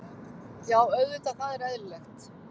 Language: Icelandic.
Já auðvitað, það er eðlilegt.